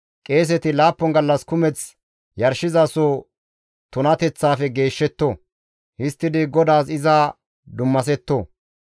Qeeseti laappun gallas kumeth yarshizasoza tunateththafe geeshshetto. Histtidi GODAAS iza dummasetto.